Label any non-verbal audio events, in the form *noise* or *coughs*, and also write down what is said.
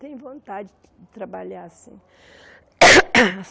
Tenho vontade de trabalhar assim. *coughs*